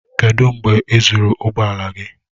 Kedụ mgbe e zụrụ ụgbọ ala gị?